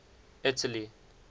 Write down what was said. italy